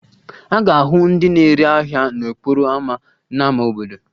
A ga-ahụ ndị na-ere ahịa n'okporo ámá n'ámá obodo